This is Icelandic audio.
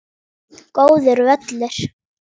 Góður völlur.